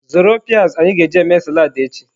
Zụrụ peas anyị ga-eji eme salad echi.